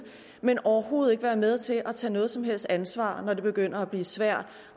vil overhovedet ikke være med til at tage noget som helst ansvar når det begynder at blive svært